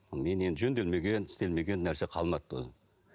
менен жөнделмеген істелмеген нәрсе қалмады